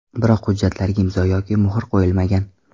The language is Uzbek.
Biroq hujjatlarga imzo yoki muhr qo‘yilmagan.